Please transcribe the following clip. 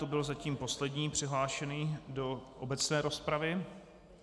To byl zatím poslední přihlášený do obecné rozpravy.